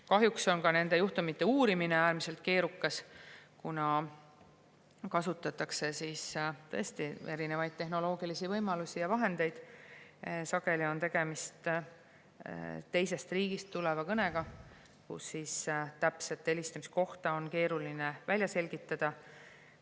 Kahjuks on nende juhtumite uurimine äärmiselt keerukas, kuna kasutatakse erinevaid tehnoloogilisi võimalusi ja vahendeid, sageli on tegemist teisest riigist tuleva kõnega, nii et ka täpset helistamise kohta on keeruline välja selgitada.